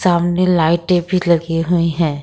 सामने लाइटें भी लगी हुई हैं।